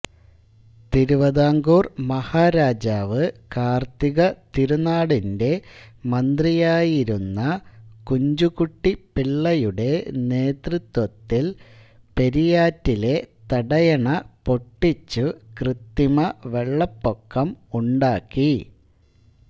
തിരുവിതാംകൂർ മഹാരാജാവ് കാർത്തികതിരുനാളിന്റെ മന്ത്രിയായിരുന്ന കുഞ്ചുകുട്ടിപിള്ളയുടെ നേതൃത്വത്തിൽ പെരിയാറ്റിലെ തടയണ പൊട്ടിച്ചു കൃത്രിമ വെള്ളപ്പൊക്കം ഉണ്ടാക്കി